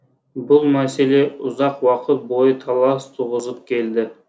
бұл мәселе ұзақ уақыт бойы талас туғызып келді